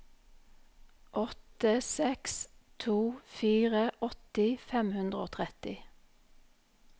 åtte seks to fire åtti fem hundre og tretti